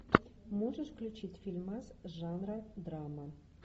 можешь включить фильмас жанра драма